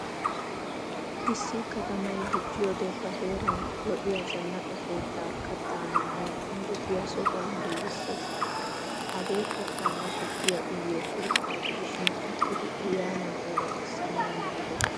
Issi katamay dicciyode ba heeran lo"iyaa zanaqqa keettaa kattaa maamawu injjettiya sohuwaa giigisees. Hagee kattanne tukkiyaa uyiyo keettaa gidishin uttidi aayaana ooraxxisanawu maadees.